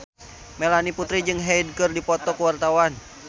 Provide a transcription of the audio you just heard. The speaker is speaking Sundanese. Melanie Putri jeung Hyde keur dipoto ku wartawan